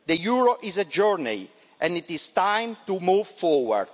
The euro is a journey, and it is time to move forward.